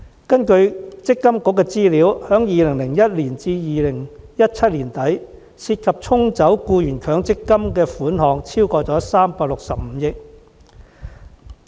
根據強制性公積金計劃管理局的資料，由2001年至2017年年底，僱員被"沖走"的強積金款項超過365億元。